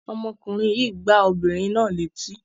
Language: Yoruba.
Ọmọkùnrin yìí gbá obìnrin náà létí?